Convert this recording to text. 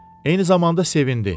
Eyni zamanda sevindi.